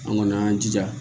An kɔni an y'an jija